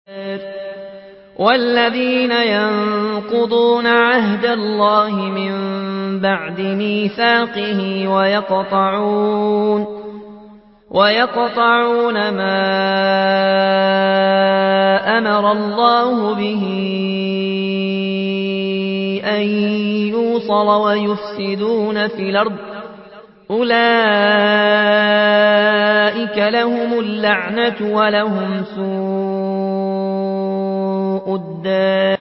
وَالَّذِينَ يَنقُضُونَ عَهْدَ اللَّهِ مِن بَعْدِ مِيثَاقِهِ وَيَقْطَعُونَ مَا أَمَرَ اللَّهُ بِهِ أَن يُوصَلَ وَيُفْسِدُونَ فِي الْأَرْضِ ۙ أُولَٰئِكَ لَهُمُ اللَّعْنَةُ وَلَهُمْ سُوءُ الدَّارِ